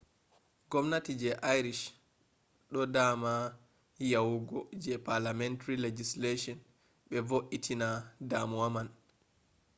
gwamnati je irish do dama yawugo je parliamentary legislation be vointina damuwa man